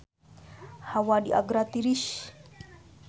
Hawa di Agra tiris